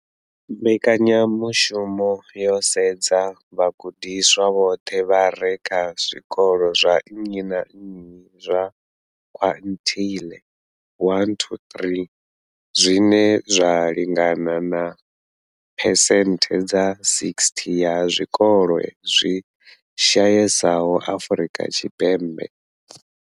Mbekanya mushumo yo sedza vhagudiswa vhoṱhe vha re kha zwikolo zwa nnyi na nnyi zwa quintile 1-3, zwine zwa lingana na phesenthe dza 60 ya zwikolo zwi shayesaho Afrika Tshipembe.